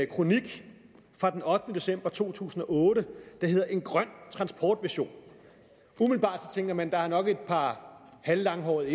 kronik fra den ottende december to tusind og otte der hedder en grøn transportvision umiddelbart tænker man at der nok er et par halvlanghårede